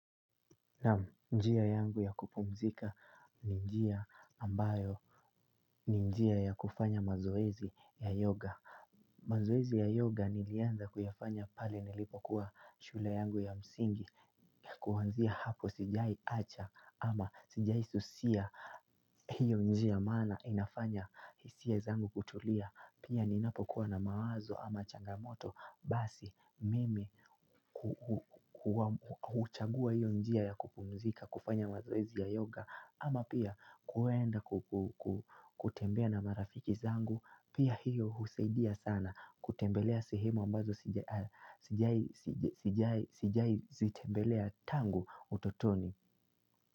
Naam, njia yangu ya kupumzika ni njia ambayo ni njia ya kufanya mazoezi ya yoga. Mazoezi ya yoga nilianza kuyafanya pale nilipokuwa shule yangu ya msingi. Kuanzia hapo sijai acha ama sijai susia hiyo njia maana inafanya hisia zangu kutulia. Pia ninapokuwa na mawazo ama changamoto, basi mimi huchagua hiyo njia ya kupumzika kufanya mazoezi ya yoga, ama pia kuenda kutembea na marafiki zangu. Pia hiyo husaidia sana kutembelea sehemu ambazo sijai sijai zitembelea tangu utotoni.